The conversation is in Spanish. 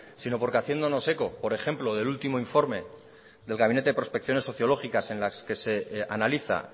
sino porque haciéndonos eco por ejemplo del último informe del gabinete prospección sociológicas en las que se analiza